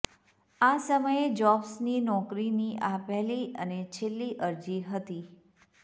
આ સમયે જોબ્સની નોકરીની આ પહેલી અને છેલ્લી અરજી હતી